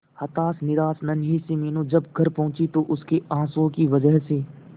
हताश निराश नन्ही सी मीनू जब घर पहुंची तो उसके आंसुओं की वजह से